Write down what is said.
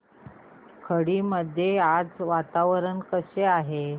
खर्डी मध्ये आज वातावरण कसे आहे